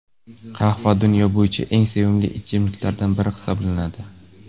Qahva dunyo bo‘yicha eng sevimli ichimliklardan biri hisoblanadi.